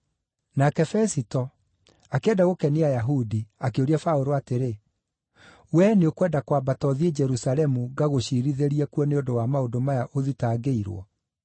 Nake Fesito, akĩenda gũkenia Ayahudi akĩũria Paũlũ atĩrĩ, “Wee nĩ ũkwenda kwambata ũthiĩ Jerusalemu ngagũciirithĩrie kuo nĩ ũndũ wa maũndũ maya ũthitangĩirwo?”